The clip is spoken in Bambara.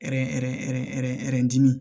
dimin